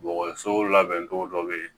Dɔgɔso labɛncogo dɔ bɛ ye